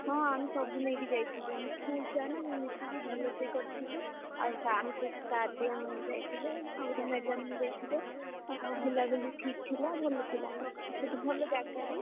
ହଁ ଆମେ ସବୁ ନେଇକି ଯାଇଥିଲୁ ଆମେ school ଛୁଆ ନା ମିଶିକି ଭଲସେ କରିଥିଲୁ ଆମ sir ବି ଯାଇଥିଲେ ଆଉ ଗୋଟେ madam ବି ଯାଇଥିଲେ। ବୁଲାବୁଲି ଠିକ୍ ଥିଲା ଭଲ ଥିଲା ଆମର,